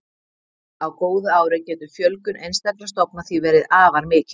Á góðu ári getur fjölgun einstakra stofna því verið afar mikil.